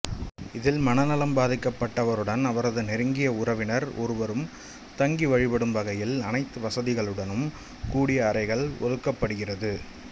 இதில் மனநலம் பாதிக்கப்பட்டவருடன் அவரது நெருங்கிய உறவினர் ஒருவரும் தங்கி வழிபடும் வகையில் அனைத்து வாதிகளுடனும் கூடிய அறைகள் ஒதுக்கப்படுகிறது